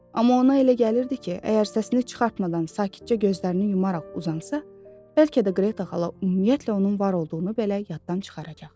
Amma ona elə gəlirdi ki, əgər səsini çıxartmadan sakitcə gözlərini yumaraq uzansa, bəlkə də Qreta xala ümumiyyətlə onun var olduğunu belə yaddan çıxaracaq.